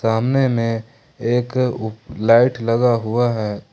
सामने में एक उ लाइट लगा हुआ है।